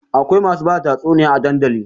Akwai masu bada tatsuniya a dandali